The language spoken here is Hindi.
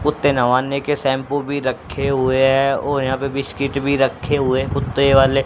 कुत्ते नहवाने के शैंपू भी रखे हुए हैं और यहां पे बिस्कुट भी रखे हुए कुत्ते वाले--